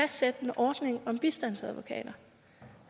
fastsætte en ordning om bistandsadvokater